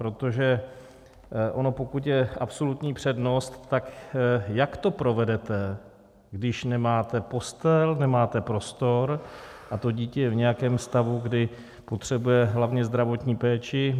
Protože ono pokud je absolutní přednost, tak jak to provedete, když nemáte postel, nemáte prostor a to dítě je v nějakém stavu, kdy potřebuje hlavně zdravotní péči.